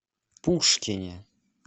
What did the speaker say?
пушкине